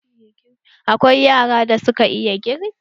Akwai yaran da suka iya girki.